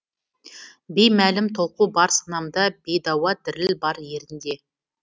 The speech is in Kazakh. беймәлім толқу бар санамда бейдауа діріл бар ерінде